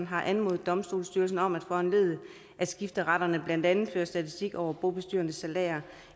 har anmodet domstolsstyrelsen om at foranledige at skifteretterne blandt andet fører statistik over bobestyrernes salærer